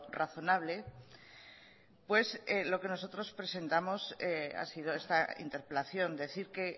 razonable pues lo que nosotros presentamos ha sido esta interpelación decir que